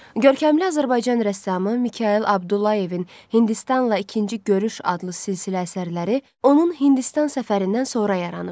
Görkəmli Azərbaycan rəssamı Mikayıl Abdullayevin Hindistanla ikinci görüş adlı silsilə əsərləri onun Hindistan səfərindən sonra yaranıb.